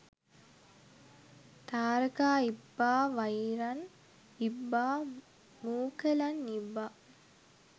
තාරකා ඉබ්බා වෛරන් ඉබ්බා මූකලන් ඉබ්බා